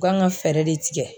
U kan ka fɛɛrɛ de tigɛ